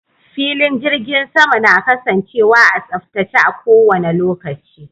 Filin jirgin sama na kasancewa a tsaftace a kowanne lokaci